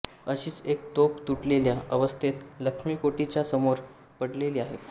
अशीच एक तोफ तुटलेल्या अवस्थेत लक्ष्मीकोठीच्या समोर पडलेली आहे